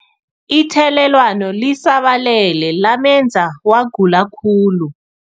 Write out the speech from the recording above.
Ithelelwano lisabalele lamenza wagula khulu.